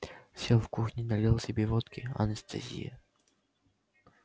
сел в кухне налил себе водки анестезия